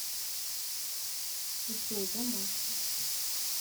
джой домашний